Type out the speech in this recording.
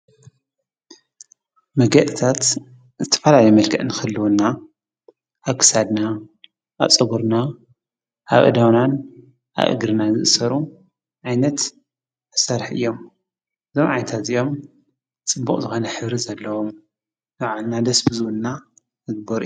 መጋየፂታት ዝተፈላለየ መልክዕ ንኽህልወና ኣብ ክሳድና ፣ኣብ ፀጉርና ፣ኣብ ኣእዳውናን ኣብ እግርናን ዝእሰሩ ዓይነት መሳርሒ እዮም፡፡ እዞም ዓይነታት እዚኦም ፅቡቕ ዝኾነ ሕብሪ ዘለዎም ንባዕልና ደስ ዝብሉና ዝግበሩ እዮም፡፡